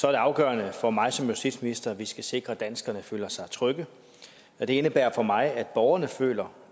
er det afgørende for mig som justitsminister at vi skal sikre at danskerne føler sig trygge det indebærer for mig at borgerne føler